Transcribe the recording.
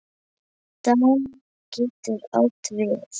Daníel getur átt við